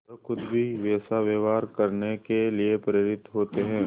वह खुद भी वैसा व्यवहार करने के लिए प्रेरित होते हैं